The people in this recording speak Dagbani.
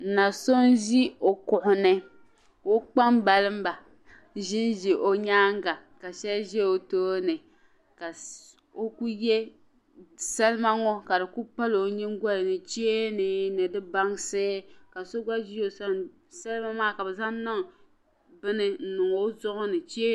Na so n ʒi ɔ kuɣuni ka ɔ kpaŋ baliba ʒinʒi ɔ nyaaŋa, ka shabi ʒiɔtooni ka salima ŋɔ ka di pali onyiŋgolini cheeni ni di bansi ka so gba ʒi ɔsani sali maa kabi zaŋ niŋ ɔzuɣuni